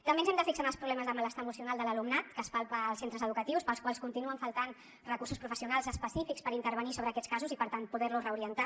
també ens hem de fixar en els problemes de malestar emocional de l’alumnat que es palpa als centres educatius per als quals continuen faltant recursos professionals específics per intervenir sobre aquests casos i per tant poder los reorientar